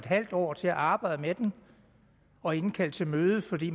halv år til at arbejde med den og indkalde til møde fordi